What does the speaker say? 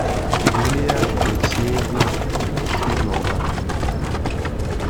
юлия алексеевна смирнова